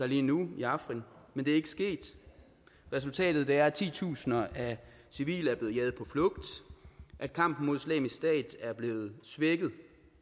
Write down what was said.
lige nu i afrin men det er ikke sket resultatet er at titusinder af civile er blevet jaget på flugt at kampen mod islamisk stat er blevet svækket